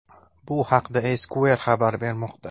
Bu haqda Esquire xabar bermoqda.